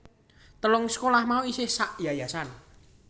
Telung sekolah mau isih sakyayasan